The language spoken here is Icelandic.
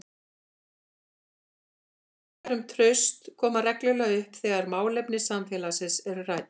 Spurningar um traust koma reglulega upp þegar málefni samfélagsins eru rædd.